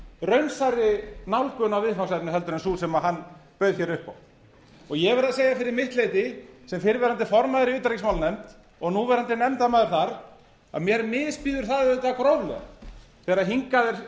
raunsærri nálgun á viðfangsefnið en sú sem hann bauð hér upp á ég verð að segja fyrir mitt leyti sem fyrrverandi formaður í utanríkismálanefnd og núverandi nefndarmaður þar að mér misbýður það auðvitað gróflega þegar hingað er